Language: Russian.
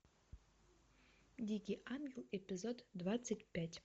дикий ангел эпизод двадцать пять